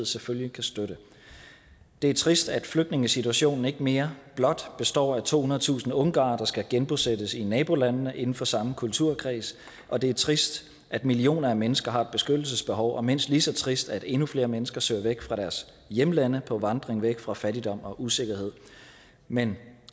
selvfølgelig kan støtte det er trist at flygtningesituationen ikke mere blot består af tohundredetusind ungarere der skal genbosættes i nabolandene inden for samme kulturkreds og det er trist at millioner af mennesker har et beskyttelsesbehov og mindst lige så trist at endnu flere mennesker søger væk fra deres hjemlande på vandring væk fra fattigdom og usikkerhed men